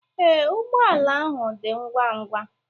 Ee, ụgbọ ala ahụ dị ngwa ngwa.